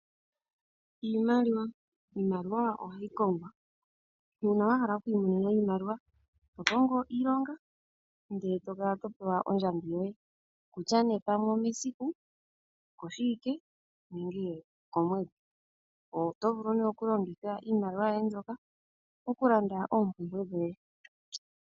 Iimaliwa, Iimaliwa ohayi kongwa uuna wahala okwiimonena iimaliwa ohokongo iilonga ndele tokala topewa ondjambi yoye kutya pamwe omesiku, okoshiwike nenge okomwedhi. Oto vulu okulongitha iimaliwa ndyoka okulanda oompumbwe dhoye.